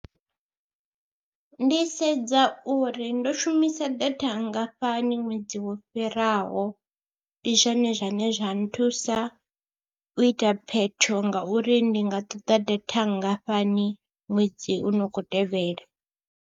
Ndi sedza uri ndo shumisa data nngafhani ṅwedzi wo fhiraho, ndi zwone zwane zwa nthusa u ita phetho ngauri ndi nga ṱoḓa data nngafhani ṅwedzi u no khou tevhela.